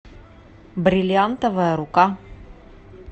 бриллиантовая рука